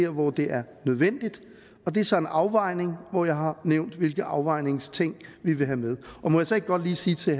hvor det er nødvendigt det er så en afvejning og jeg har nævnt hvilke afvejningsting vi vil have med må jeg så ikke godt lige sige til